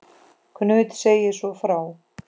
Knud segir svo frá